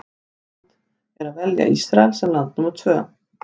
Íslands að velja Ísrael sem land númer tvö.